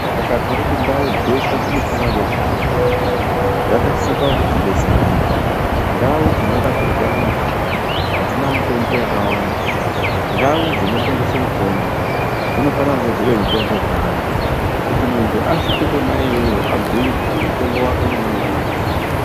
Saka tiri kuti ndau dzeshe dzinofanira kunge dzine mutombo. Dzakasikwa kuti dzibetsere antu. Ndau dzinorapirwe antu hadzina mitombo yakawanda. Ndau dzinotengese mitombo dzinofana kunge dzine mitombo yakawanda kuti munhu asvike kona iyoyo abhuyirwe kuti mutombo wako unonotora kwakati.